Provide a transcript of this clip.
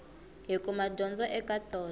hi kuma dyondzo eka tona